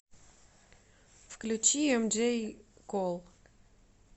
включи эмджей кол